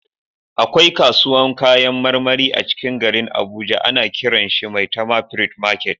Akwai kasuwan kayan marmari a cikin garin abuja ana kiran shi "maitama fruit market"